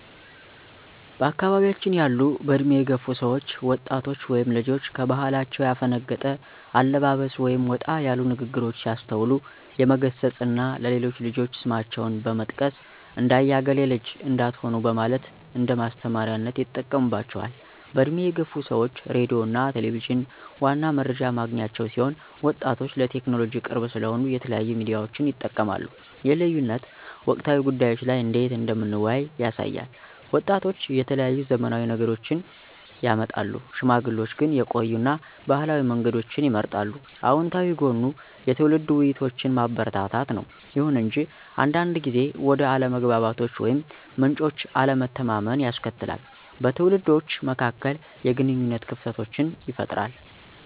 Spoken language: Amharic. በአካባያችን ያሉ በእድሜ የገፉ ሰዎች ወጣቶች ወይም ልጆች ከባህላቸው ያፈነገጠ አለባበስ ወይም ወጣ ያሉ ንግሮች ሲያስተውሉ የመገሰፅ እና ለሌሎች ልጆች ስማቸውን በመጥቀስ ''እንደ አያ እገሌ ልጅ '' እንዳትሆኑ በማለት እንደማስተማሪያነት ይጠቀሙባቸዋል። በእድሜ የገፉ ሰዎች ሬዲዮ እና ቴሌቪዠን ዋና መረጃ ማግኛቸው ሲሆን ወጣቶች ለቴክኖሎጂ ቅርብ ስለሆኑ የተለያዩ ሚዲያዎችን ይጠቀማሉ ይህ ልዩነት በወቅታዊ ጉዳዮች ላይ እንዴት እንደምንወያይ ያሳያል። ወጣቶች የተለያዩ ዘመናዊ ነገሮችን ያመጣሉ፣ ሽማግሌዎች ግን የቆዩ እና ባህላዊ መንገዶችን ይመርጣሉ። አወንታዊ ጎኑ የትውልድ ውይይቶችን ማበረታታት ነው። ይሁን እንጂ አንዳንድ ጊዜ ወደ አለመግባባቶች ወይም ምንጮች አለመተማመንን ያስከትላል, በትውልዶች መካከል የግንኙነት ክፍተቶችን ይፈጥራል።